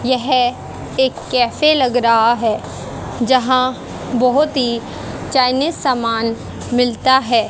यह एक कैफे लग रहा है जहां बहोत ही चाइनीज सामान मिलता है।